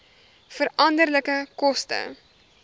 veranderlike koste